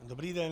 Dobrý den.